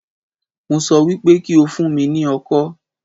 Mo sọ wípé kí o fún mi ní ọkọ́